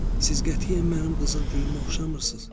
Siz qətiyyən mənim qızıl gülümə oxşamırsınız.